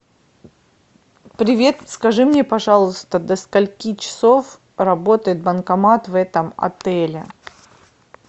привет скажи мне пожалуйста до скольки часов работает банкомат в этом отеле